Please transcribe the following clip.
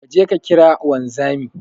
Kaje ka kira wanzami